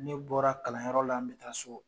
Ne bɔra kalanyɔrɔ la, n bɛ taa so